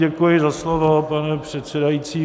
Děkuji za slovo, pane předsedající.